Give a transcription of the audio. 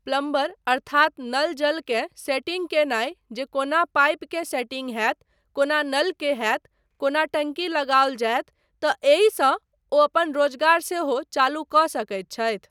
Plumber अर्थात नल जलकेँ सेटिंग कयनाय जे कोना पाइपकेँ सेटिन्ग होयत, कोना नलकेँ होयत, कोना टंकी लगाओल जायत तँ एहिसँ ओ अपन रोजगार सेहो चालू कऽ सकैत छथि।